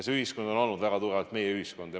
See ühiskond on olnud väga tugevalt meie-ühiskond.